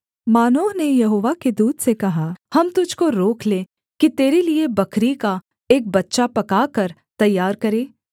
मानोह ने यहोवा के दूत से कहा हम तुझको रोक लें कि तेरे लिये बकरी का एक बच्चा पकाकर तैयार करें